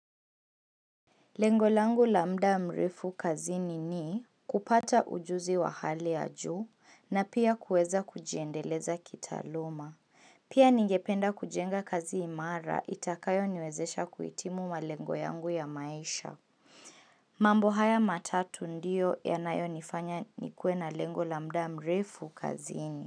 Lengo langu la mda mrefu kazini ni kupata ujuzi wa hali ya juu na pia kuweza kujiendeleza kitaaluma. Pia ningependa kujenga kazi imara itakayoniwezesha kuitimu malengo yangu ya maisha. Mambo haya matatu ndio yanayonifanya nikuwe na lengo la mda mrefu kazini.